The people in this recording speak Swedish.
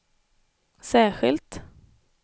särskilt